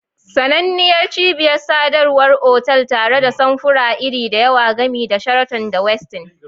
Sananniyar cibiyar sadarwar otal tare da samfuran iri da yawa, gami da Sheraton da Westin.